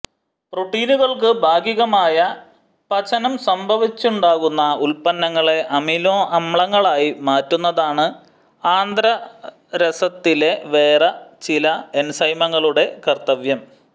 പ്രോട്ടീനുകൾക്കു ഭാഗികമായ പചനം സംഭവിച്ചുണ്ടാകുന്ന ഉത്പന്നങ്ങളെ അമിനൊ അമ്ലങ്ങളായി മാറ്റുന്നതാണ് ആന്ത്രരസത്തിലെ വേറെ ചില എൻസൈമുകളുടെ കർത്തവ്യം